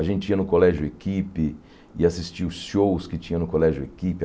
A gente ia no Colégio Equipe e assistia os shows que tinha no Colégio Equipe.